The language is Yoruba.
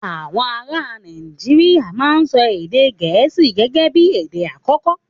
Àwọn ará Nàìjíríà máa ń sọ èdè gẹ̀ẹ́sì gẹ́gẹ́bí èdè àkọ́kọ́